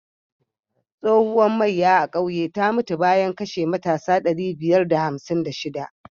Tsohuwar maiya a kauye ta mutu bayan kashe matasa ɗari biyar da hamsin da shiɗa.